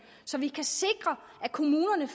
så vi kan sikre at kommunerne